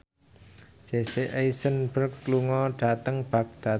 Jesse Eisenberg lunga dhateng Baghdad